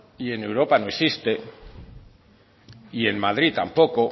y en europa no existe y en madrid tampoco